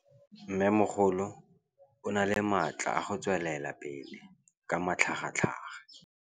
Mmêmogolo o na le matla a go tswelela pele ka matlhagatlhaga.